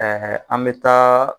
an mɛ taa